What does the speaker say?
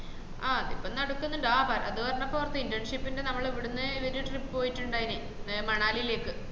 ആഹ് അതിപ്പോ നടക്കുന്നുണ്ട് ആഹ് അത് പറഞ്ഞപ്പോ ഓർത്തെ internship ന്റെ നമ്മള ഇവിടുന്ന് ഇവര് trip പോയിട്ടിണ്ടായന് ഈ മണലിലേക്ക്